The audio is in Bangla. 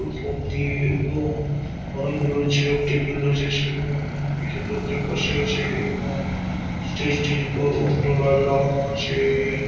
দিয়ে এবং অনেক গুলি চেয়ার টেবিল রয়েছে সেখানে কিছু লোকজন বসে আছে এবং স্টেজ - টির উপর অনেকগুলো লাইট লাগানো আছে-এ-এ--